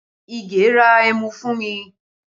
Ige ra ẹmu fún mi